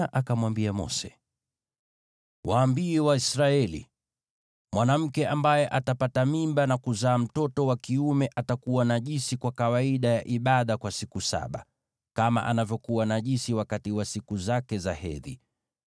“Waambie Waisraeli: ‘Mwanamke ambaye atapata mimba na kuzaa mtoto wa kiume atakuwa najisi kwa kawaida ya ibada kwa siku saba, kama anavyokuwa najisi wakati wa siku zake za hedhi.